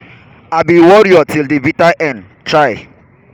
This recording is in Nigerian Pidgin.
i be warrior to di bitter end. um